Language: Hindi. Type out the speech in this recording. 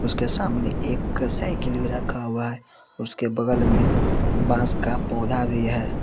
के सामने एक साइकिल भी रखा हुआ है उसके बगल में बांस का पौधा भी है।